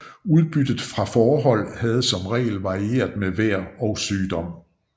Udbyttet fra fåreholdet havde som regel varieret med vejr og sygdom